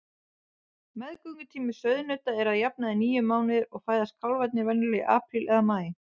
Meðgöngutími sauðnauta er að jafnaði níu mánuðir og fæðast kálfarnir venjulega í apríl eða maí.